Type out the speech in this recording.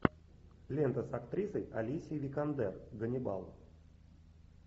лента с актрисой алисией викандер ганнибал